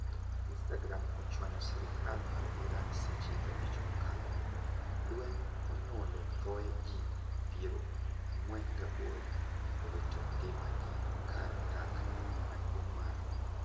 .Instagram ochwanyo sirkal ma Iran seche abich mokalo. Lweny onyuolo thoe ji piero ang'wen gaboro owito ngima gi kar dak maduong' mar